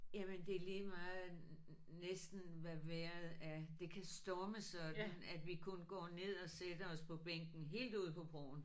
Jamen det er lige meget næsten hvad vejret er. Det kan storme sådan at vi kun går ned og sætter os på bænken helt ude på broen